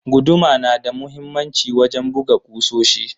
Guduma na da muhimmanci wajen buga kusoshi.